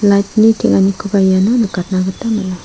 light-ni teng·anikoba iano nikatna gita man·a.